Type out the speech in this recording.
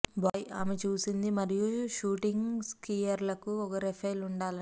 bye ఆమె చూసింది మరియు షూటింగ్ స్కీయర్లకు ఒక రైఫిల్ ఉండాలని